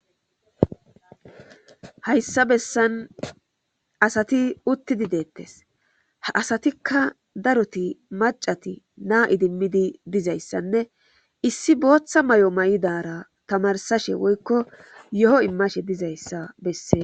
hayssa bessan asati uttidi deettes ha asatikka daroti macati naa idimmidi dizayssanne issi booththa may7o may7idara tamarsashe woykko yo7o immashe dizayssa bessee